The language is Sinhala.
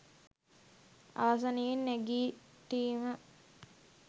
ආසනයෙන් නැගිටීම